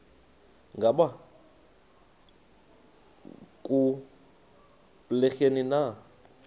ngaba kubleni na